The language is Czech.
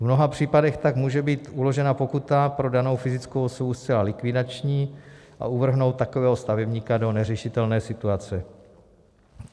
V mnoha případech tak může být uložená pokuta pro danou fyzickou osobu zcela likvidační a uvrhnout takového stavebníka do neřešitelné situace.